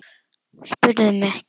LÁRUS: Spyrðu mig ekki!